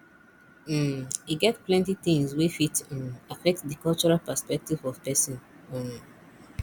um e get plenty things wey fit um affect di cultural perspective of person um